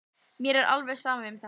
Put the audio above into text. Mér er alveg sama um þetta.